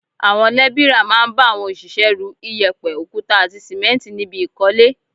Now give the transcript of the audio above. Àwọn lébìrà máa ń bá àwọn òṣìṣẹ́ ru, iyẹ̀pẹ̀, òkúta àti sìmẹ́ǹtì níbi ìkọ́lé